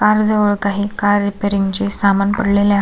Car जवळ काही car repairing चे सामान पडलेले आहे.